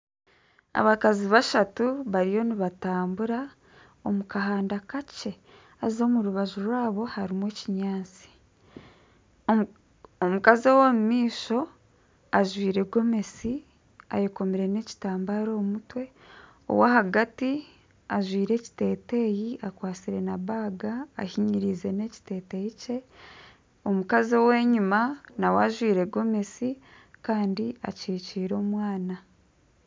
Abakazi bashatu bariyo nibatambura omu kahanda kakye haza omu rubaju rwabo harimu ebinyaatsi omukazi ow'omumaisho ajwaire Gomesi ayekomire nekitambara omu mutwe owa ahagati ajwaire ekiteteyi akwatsire nana enshaho ahinyiriize n'ekiteteeyi kye omukazi ow'enyima nawe ajwaire Gomesi Kandi akikiire omwana .